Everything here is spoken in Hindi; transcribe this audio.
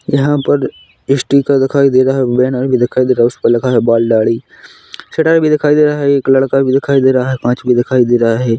यहां पर स्टिकर दिखाई दे रहा है बैनर भी दिखाई दे रहा है उस पर लिखा है बाल दाढ़ी चटाई भी दिखाई दे रहा है एक लड़का भी दिखाई दे रहा है कांच भी दिखाई दे रहा है।